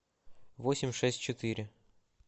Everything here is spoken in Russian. восемь шесть четыре